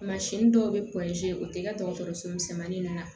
dɔw bɛ o tɛ kɛ dɔgɔtɔrɔso misɛnmanin na